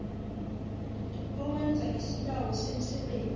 owenza isibawo semisebenzi